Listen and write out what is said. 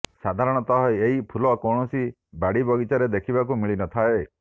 ସାଧାରଣତଃ ଏହି ଫୁଲ କୌଣସି ବାଡ଼ି ବଗିଚାରେ ଦେଖିବାକୁ ମିଳି ନଥାଏ